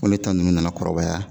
Ŋo ne ta ninnu nana kɔrɔbaya